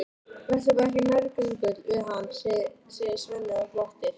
Vertu bara ekki nærgöngull við hana, segir Svenni og glottir.